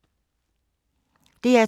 DR2